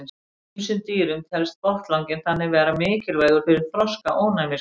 Í ýmsum dýrum telst botnlanginn þannig vera mikilvægur fyrir þroska ónæmiskerfisins.